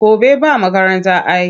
Gobe ba makaranta ai.